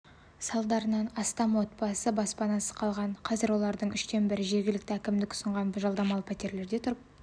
салдарынан астам отбасы баспанасыз қалған қазір олардың үштен бірі жергілікті әкімдік ұсынған жалдамалы пәтерлерде тұрып